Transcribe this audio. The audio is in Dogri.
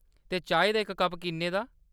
ते चाही दा इक कप किन्ने दा ?